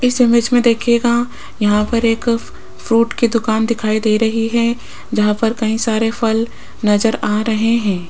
इस इमेज में दिखेगा यहां पर एक फ्रूट की दुकान दिखाई दे रही है जहां पर कहीं सारे फल नजर आ रहे हैं।